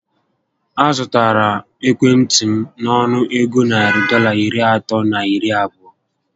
A zụtara ekwentị m nọnụ égo narị Dọlas iri atọ na iri abụọ